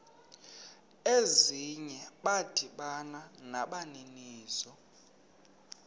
ezinye bada nabaninizo